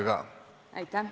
Aitäh!